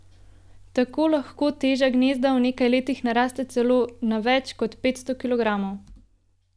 Tako lahko teža gnezda v nekaj letih naraste celo na več kot petsto kilogramov.